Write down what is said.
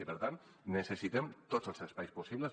i per tant necessitem tots els espais possibles